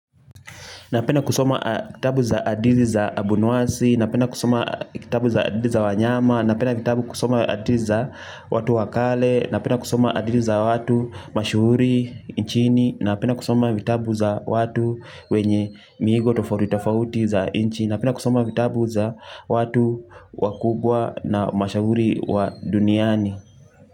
Napenda kusoma kitabu za hadithi za abunuwasi, napenda kusoma kitabu za hadithi za wanyama, napenda kusoma hadithi za watu wakale, napenda kusoma hadithi za watu mashuhuri nchini, napenda kusoma vitabu za watu wenye miigo tofauti tofauti za nchi, napenda kusoma vitabu za watu wakubwa na mashuhuri wa duniani.